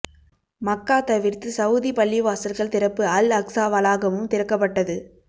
மக்கா தவிர்த்து சவூதி பள்ளிவாசல்கள் திறப்பு அல் அக்ஸா வளாகமும் திறக்கப்பட்டது